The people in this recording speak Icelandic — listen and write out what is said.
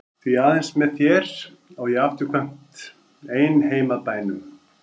Því aðeins með þér á ég afturkvæmt ein heim að bænum.